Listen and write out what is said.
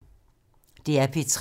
DR P3